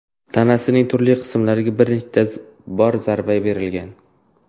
tanasining turli qismlariga bir necha bor zarba bergan.